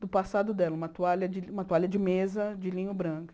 do passado dela, uma toalha de uma toalha de mesa de linho branco.